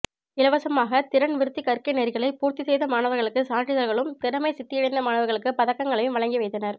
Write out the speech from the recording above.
இலவசமாக திறன் விருத்தி கற்கை நெறிகளை பூர்த்தி செய்த மாணவர்களுக்கு சான்றிதழ்களும் திறமைச் சித்தியடைந்த மாணவர்களுக்கு பதக்கங்களையும் வழங்கி வைத்தனர்